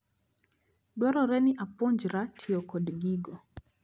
Dwarore ni apuonjra tiyo kod gigo.